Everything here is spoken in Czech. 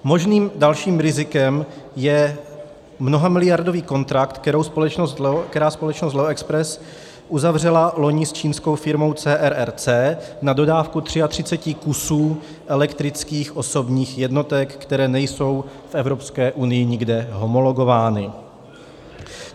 Možným dalším rizikem je mnohamiliardový kontrakt, který společnost Leo Express uzavřela loni s čínskou firmou CRRC na dodávku 33 kusů elektrických osobních jednotek, které nejsou v Evropské unii nikde homologovány.